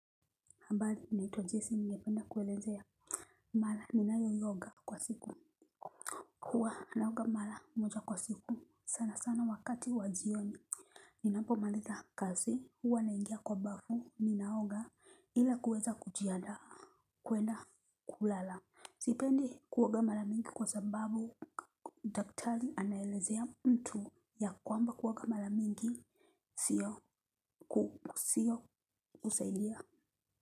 Habari naitwa Jesi nigependa kuelezea mala ninayoyoga kwa siku. Huwa anaoga mara moja kwa siku sana sana wakati wa jioni. Ninapo maliza kazi huwa naingia kwa bafu ninaoga ila kuweza kujiandaa kuenda kulala. Sipendi kuoga mara mingi kwa sababu daktari anaelezea mtu ya kwamba kuoga mara mingi sio kusaidia.